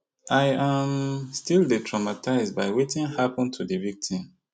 i um still dey traumatised by wetin happun to di victim